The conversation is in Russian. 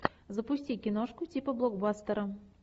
запусти киношку типа блокбастера